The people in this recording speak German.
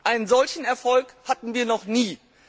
Einen solchen Erfolg hatten wir noch nie.